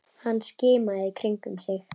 Hann skimaði í kringum sig.